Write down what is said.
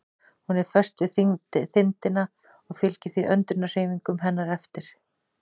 Hún er föst við þindina og fylgir því öndunarhreyfingum hennar eftir.